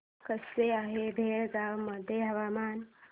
कसे आहे बेळगाव मध्ये हवामान